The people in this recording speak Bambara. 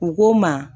U k'o ma